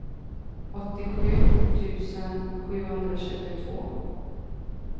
åttiosju tusen sjuhundratjugotvå